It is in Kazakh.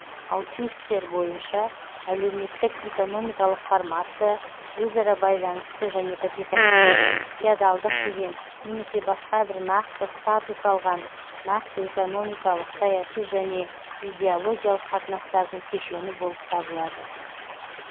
алтюссер бойынша әлеуметтік экономикалық формация өзара байланысты және капиталистік феодалдық деген немесе басқа бір нақты статус алған нақты экономикалық саяси және идеологиялық қатынастардың кешені болып табылады